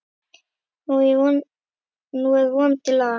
Nú er vonandi lag.